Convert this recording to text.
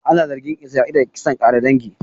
Ana zargin Isra'ila da kisan ƙare dangi